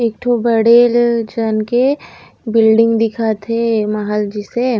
एकठो बड़े बिल्डिंग दिखत हे महल जइसे--